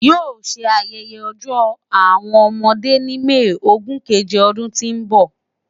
Yoo ṣe ayẹyẹ Ọjọ Awọn ọmọde ni May ogun keje ọdun ti n bọ